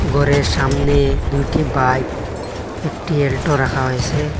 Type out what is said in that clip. গরের সামনে দুটি বাইক একটি এলটো রাখা হয়েসে ।